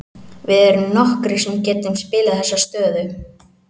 Við erum nokkrir sem getum spilað þessa stöðu.